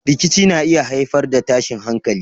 Rikici na iya haifar da tashin hankalin.